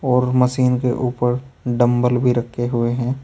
और मशीन के ऊपर डंबल भी रखे हुए हैं।